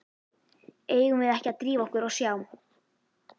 Eigum við ekki að drífa okkur og sjá.